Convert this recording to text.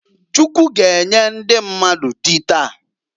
Chukwu g'enye ndi mmadụ dị taa.